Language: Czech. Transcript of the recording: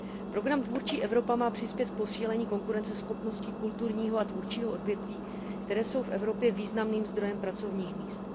Program Tvůrčí Evropa má přispět k posílení konkurenceschopnosti kulturního a tvůrčího odvětví, které jsou v Evropě významným zdrojem pracovních míst.